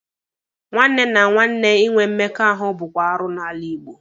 Nwanne na nwanne ịnwe mmekọahụ bụkwa arụ n'ala Igbo